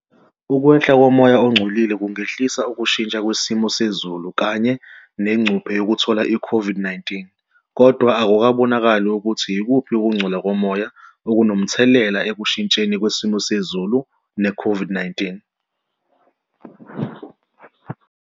Ukwehla komoya ongcolile kungehlisa ukushintsha kwesimo sezulu kanye negcuphe yokuthola i-COVID-19 kodwa akukabonakali ukuthi ikuphi ukungcola komoya okunomthelelaekushintsheni kwesimo sezulu ne-COVID-19.